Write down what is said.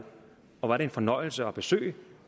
og hvor er det en fornøjelse at besøge